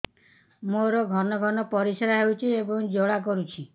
ମୋର ଘନ ଘନ ପରିଶ୍ରା ହେଉଛି ଏବଂ ଜ୍ୱାଳା କରୁଛି